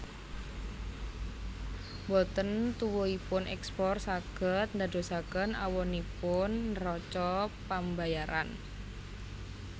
Mboten tuwuhipun èkspor saged ndadosaken awonipun neraca pambayaran